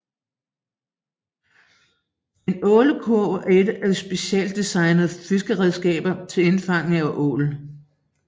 En ålekurv er et specieltdesignet fiskeredskab til indfangning af ål